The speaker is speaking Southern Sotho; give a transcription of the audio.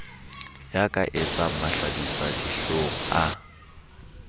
ya ka etsang mahlabisadihlong a